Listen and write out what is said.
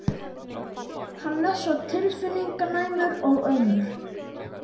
Hann er svo tilfinninganæmur og aumur.